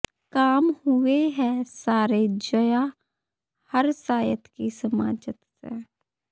ਕਾਮ ਹੂਏ ਹੈਂ ਸਾਰੇ ਜ਼ਾਯਾ ਹਰ ਸਾਇਤ ਕੀ ਸਮਾਜਤ ਸੇ